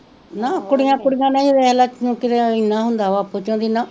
ਨਾ ਕੁੜੀਆਂ ਕੁੜੀਆਂ ਨੇ ਹੀ ਵੇਖਲਾ ਏਨਾ ਹੁੰਦਾ ਵਾ